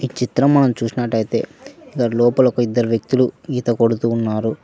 చిత్రం మనం చూసినట్టయితే దాని లోపల ఒక ఇద్దరు వ్యక్తులు ఈత కొడుతూ ఉన్నారు.